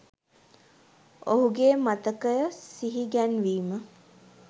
ඔහුගේ මතකය සිහිගැන්වීම